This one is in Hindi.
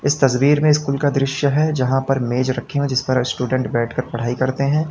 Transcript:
इस तस्वीर में स्कूल का दृश्य है जहां पर मेज रखें हुए जिस पर स्टूडेंट बैठकर पढ़ाई करते हैं।